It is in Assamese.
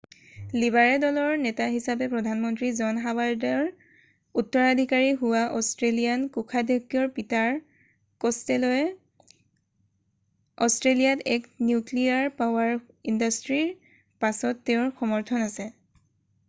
লিবাৰে দলৰ নেতা হিচাপে প্ৰধানমন্ত্ৰী জন হৱাৰ্ডৰ উত্তৰাধিকাৰী হোৱা অষ্ট্ৰেলীয়ান কোষাধক্ষ্য পীটাৰ কষ্টেল'য়ে অষ্ট্ৰেলীয়াত এক নিউক্লীয়াৰ পাৱাৰ ইণ্ডাষ্ট্ৰীৰ পাছত তেওঁৰ সমৰ্থন আছে৷